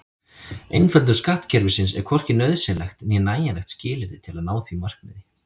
Einföldun skattkerfisins er hvorki nauðsynlegt né nægjanlegt skilyrði til að ná því markmiði.